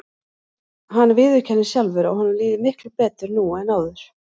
Hann viðurkennir sjálfur að honum líði miklu betur nú en áður.